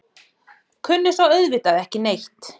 Kunni svo auðvitað ekki neitt.